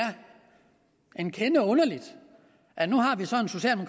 en kende underligt at nu